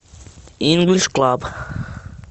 инглиш клаб